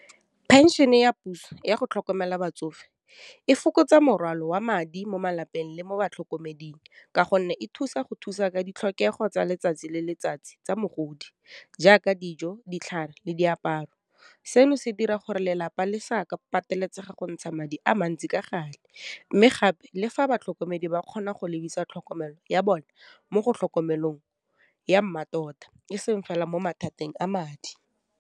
Phenšene ya puso yago tlhokomela batsofe, e fokotsa morwalo wa madi mo malapeng le mo batlhokomedeng, ka gonne e thusa go thusa ka ditlhokego tsa letsatsi le letsatsi tsa mogodi jaaka dijo, ditlhare, le diaparo. Seno se dira gore lelapa le pateletsega go ntsha madi a mantsi ka gale, mme gape le fa batlhokomedi ba kgona go lebisa tlhokomelo ya bone mo go tlhokomelong ya mmatota e seng fela mo mathateng a madi.